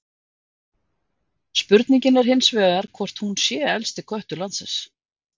Spurningin er hins vegar hvort hún sé elsti köttur landsins?